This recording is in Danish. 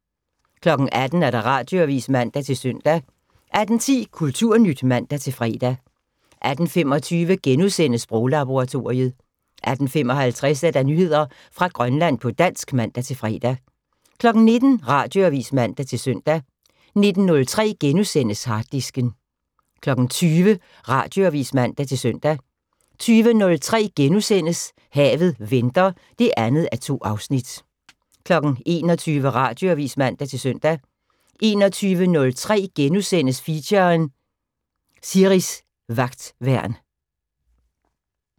18:00: Radioavis (man-søn) 18:10: Kulturnyt (man-fre) 18:25: Sproglaboratoriet * 18:55: Nyheder fra Grønland på dansk (man-fre) 19:00: Radioavis (man-søn) 19:03: Harddisken * 20:00: Radioavis (man-søn) 20:03: Havet venter (2:2)* 21:00: Radioavis (man-søn) 21:03: Feature: Siris Vagtværn *